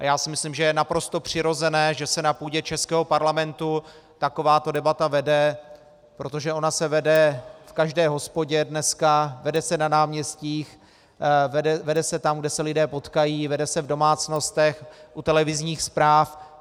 A já si myslím, že je naprosto přirozené, že se na půdě českého parlamentu takováto debata vede, protože ona se vede v každé hospodě dneska, vede se na náměstích, vede se tam, kde se lidé potkají, vede se v domácnostech, u televizních zpráv.